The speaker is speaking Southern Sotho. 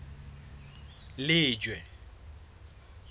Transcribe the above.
lejwe